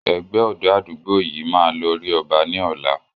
Ẹgbẹ́ ọ̀dọ́ àdúgbò yìí máa lọ rí ọba ní ọ̀la